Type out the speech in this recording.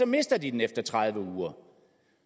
mister de den efter tredive uger